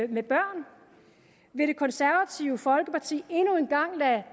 med børn vil det konservative folkeparti endnu en gang lade